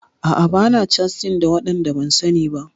A'a bana catin da waɗanda ban sani ba.